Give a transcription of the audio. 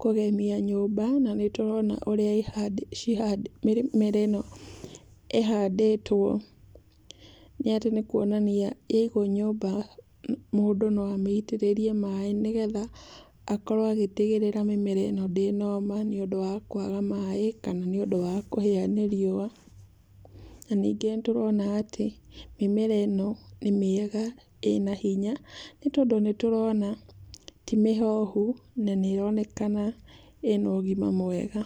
kũgemia nyũmba na nĩtũrona ũrĩa ĩhandĩtwo, cihandĩtwo, mĩmera ĩno ĩhandĩtwo nĩ atĩ nĩ kuonania yaigwo nyũmba, mũndũ no amĩitĩrĩrie maaĩ nĩgetha akorwo agĩtigĩrĩra mĩmera ĩno ndĩnoma nĩũndũ wa kwaga maaĩ kana nĩ ũndũ wa kũhĩa nĩ riũa. Na ningĩ nĩtũrona atĩ mĩmera ĩno nĩ mĩega, ĩna hinya, nĩtondũ nĩtũrona ti mĩhohu, na nĩĩronekana ĩna ũgima mwega.